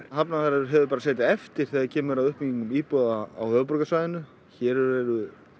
Hafnarfjörður hefur setið eftir þegar kemur að uppbyggingu íbúða á höfuðborgarsvæðinu hér eru